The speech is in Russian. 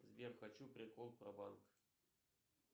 сбер хочу прикол про банк